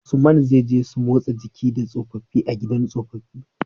Usman zai je su motsa jiki da tsofafi a gidan tsofafi